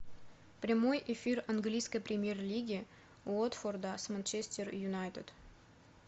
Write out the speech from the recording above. прямой эфир английской премьер лиги уотфорда с манчестер юнайтед